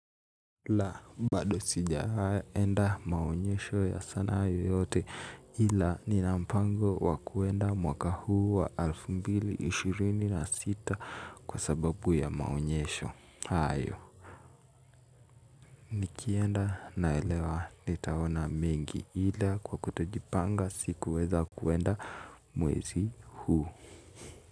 Laa bado sijaenda maonyesho ya sanaa yoyote ila nina mpango wa kuenda mwaka huu wa alfu mbili ishirini na sita kwa sababu ya maonyesho hayo. Nikienda naelewa nitaona mengi ila kwa kutojipanga sikuweza kuenda mwezi huu.